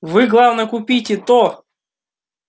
вы главное купите то